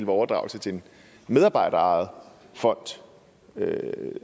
overdragelse til en medarbejderejet fond